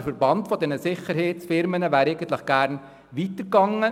Der Verband der Sicherheitsunternehmen wäre gerne weitergegangen.